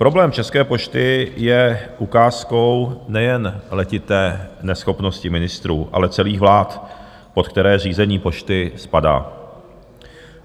Problém České pošty je ukázkou nejen letité neschopnosti ministrů, ale celých vlád, pod které řízení Pošty spadá.